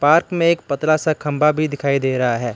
Park में एक पतला सा खम्भा भी दिखाई दे रहा है।